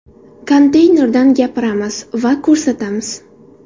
Konteynerdan gapiramiz va ko‘rsatamiz.